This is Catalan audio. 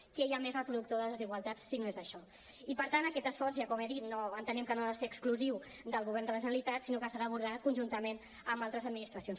què hi ha més reproductor de desigualtat si no és això i per tant aquest esforç ja com he dit entenem que no ha de ser exclusiu del govern de la generalitat sinó que s’ha d’abordar conjuntament amb altres administracions